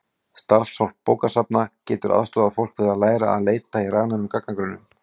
Starfsfólk bókasafna getur aðstoðað fólk við að læra að leita í rafrænum gagnagrunnum.